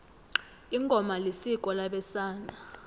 ingoma isiko labesana